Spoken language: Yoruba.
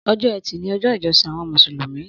Ọjọ ẹti ni ọjọ ijọsin awọn músúlúmì